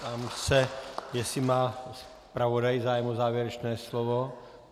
Ptám se, jestli má zpravodaj zájem o závěrečné slovo.